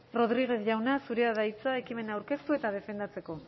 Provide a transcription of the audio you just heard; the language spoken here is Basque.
rodriguez jauna zurea da hitza ekimena aurkeztu eta defendatzeko